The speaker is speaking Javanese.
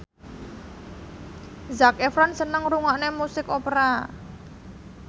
Zac Efron seneng ngrungokne musik opera